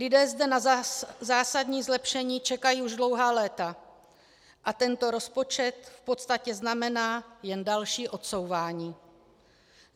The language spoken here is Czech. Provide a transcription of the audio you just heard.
Lidé zde na zásadní zlepšení čekají už dlouhá léta a tento rozpočet v podstatě znamená jen další odsouvání.